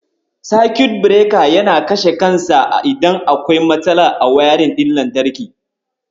Sakut Bireka yana kashe kansa idan akwai matsala a wayarin ɗin lantarki.